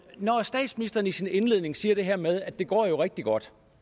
når statsministeren i sin indledning siger det her med at det går rigtig godt